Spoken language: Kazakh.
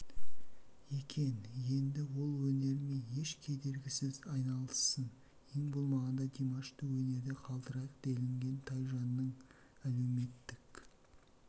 екен енді ол өнермен еш кедергісіз айналыссын ең болмағанда димашты өнерде қалдырайық делінген тайжанның әлеуметтік